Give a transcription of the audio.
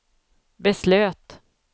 beslöt